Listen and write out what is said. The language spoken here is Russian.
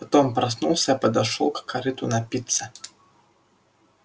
потом проснулся подошёл к корыту напиться